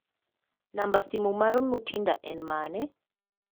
Namba simo mar Mutinda en mane?